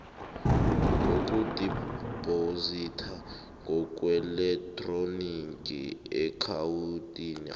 ngokudibhozidwa ngokweelektroniki eakhawuntini